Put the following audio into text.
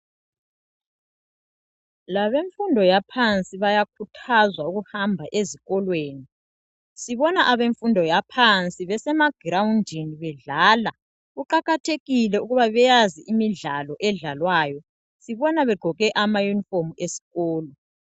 Labemfundo yaphansi bayakhuthazwa ukuhamba ezikolweni sibona abemfundo yaphansi besemagirowundini bedlala kuqakathekile ukuba beyazi imidlalo edlalwayo sibona begqoke amayunifomu esikolo.